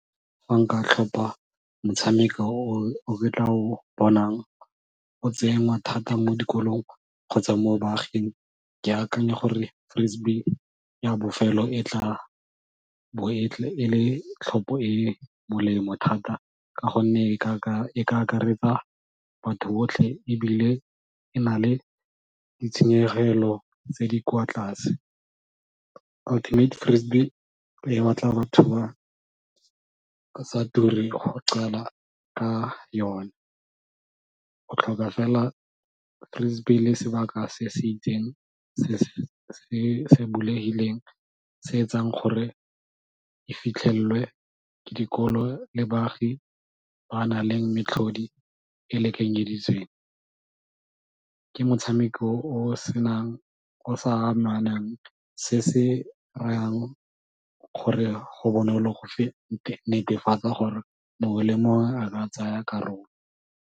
Fa nka tlhopha motshameko o ke tla o bonang o tsenngwa thata mo dikolong kgotsa mo baaging ke akanya gore ya bofelo e tla bo e le tlhopho e molemo thata ka gonne e ka akaretsa batho botlhe ebile e na le ditshenyegelo tse di kwa tlase e batla batho ba go qala ka yone, go tlhoka fela le sebaka se se itseng se se bulegileng se etsang gore e fitlhelwe ka dikolo le baagi ba na leng metlhodi e lekanyeditsweng, ke motshameko o senang se se rayang gore go bonolo go netefatsa gore mongwe le mongwe a ka tsaya karolo.